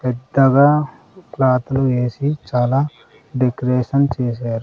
పెద్దగా ప్లాట్లు వేసి చాలా డెకరేషన్ చేశారు.